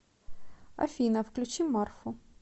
афина включи марфу